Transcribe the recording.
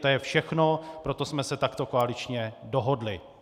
To je všechno, proto jsme se takto koaličně dohodli.